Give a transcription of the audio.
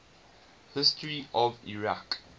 history of iraq